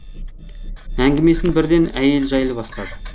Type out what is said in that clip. әңгімесін бірден әйел жайлы бастады